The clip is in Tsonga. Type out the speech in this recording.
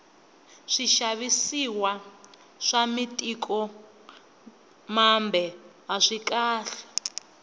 swixavisiwa swa mitiko mambe aswikahle